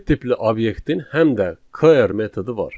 Set tipli obyektin həm də clear metodu var.